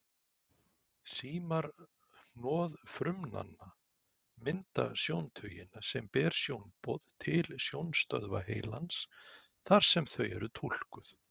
Símar hnoðfrumnanna mynda sjóntaugina sem ber sjónboð til sjónstöðva heilans þar sem þau eru túlkuð.